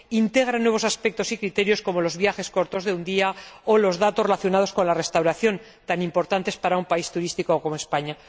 e integra nuevos aspectos y criterios como los viajes cortos de un día o los datos relacionados con la restauración, tan importantes para un país turístico como España.